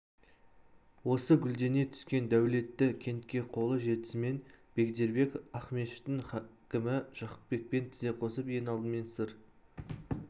осы гүлдене түскен дәулетті кентке қолы жетісімен бегдербек ақмешіттің хакімі жақыпбекпен тізе қосып ең алдымен сыр